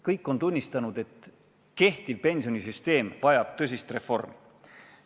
Kõik on tunnistanud, et kehtiv pensionisüsteem vajab tõsist reformi.